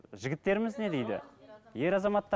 жігіттеріміз не дейді ер